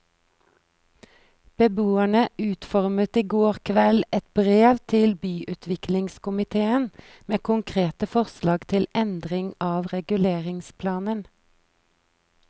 Beboerne utformet i går kveld et brev til byutviklingskomitéen med konkrete forslag til endringer av reguleringsplanen.